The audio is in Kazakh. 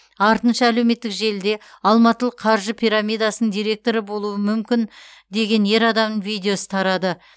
артынша әлеуметтік желіде алматылық қаржы пирамидасының директоры болуы мүмкін деген ер адамның видеосы тарады